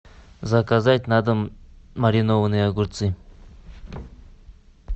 заказать на дом маринованные огурцы